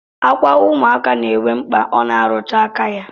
Akwa ụmụaka na-enwe mkpa ọ na-arụtụ aka ya